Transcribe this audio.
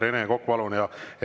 Rene Kokk, palun!